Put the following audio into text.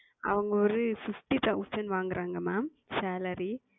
அவங்க ஒரு Fifty Thousand வாங்குறாங்க Ma'amSalary.